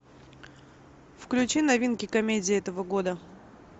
включи новинки комедии этого года